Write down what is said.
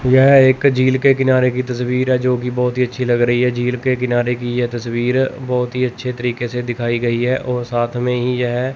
यह एक झील के किनारे की तस्वीर है जो कि बहोत ही अच्छी लग रही है झील के किनारे की यह तस्वीर बहोत ही अच्छे तरीके से दिखाई गई है और साथ मे ही यह --